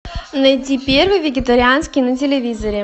найди первый вегетарианский на телевизоре